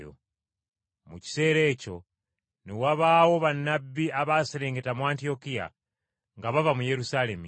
Mu kiseera ekyo ne wabaawo bannabbi abaaserengeta mu Antiyokiya nga bava mu Yerusaalemi.